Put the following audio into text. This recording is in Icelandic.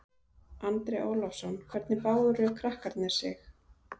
Andri Ólafsson: Hvernig báru krakkarnir sig?